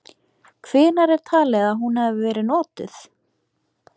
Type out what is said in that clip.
Hvenær er talið að hún hafi verið notuð?.